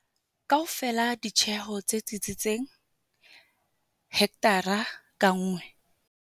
Kaofela ditjeho tse tsitsitseng-hekthara ka nngwe